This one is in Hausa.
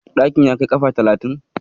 Ɗakin ya kai kafa talatin?